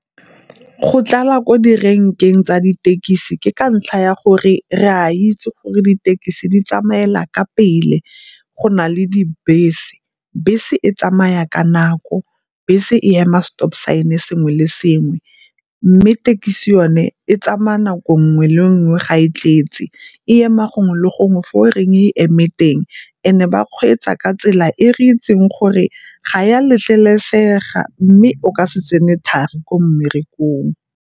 Go tlala ko direnkeng tsa ditekisi ke ka ntlha ya gore re a itse gore ditekisi di tsamaela ka pele go na le dibese. Bese e tsamaya ka nako, bese e ema stop sign-e sengwe le sengwe, mme thekisi yone e tsamaya nako nngwe le nngwe ga e tletse. E ema gongwe le gongwe fa o reng eme teng and-e ba kgweetsa ka tsela e re itseng gore ga ya letlelesega mme o ka se tsene thari ko mmerekong.